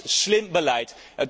Dat is slim beleid.